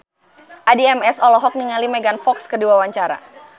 Addie MS olohok ningali Megan Fox keur diwawancara